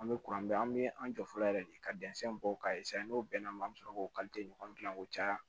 An bɛ kuran bɛɛ an bɛ an jɔ fɔlɔ yɛrɛ de ka dɛnsɛnw bɔ k'a n'o bɛnna ma an bɛ sɔrɔ k'o ɲɔgɔn dilan k'o caya